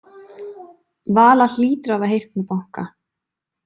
Vala hlýtur að hafa heyrt mig banka.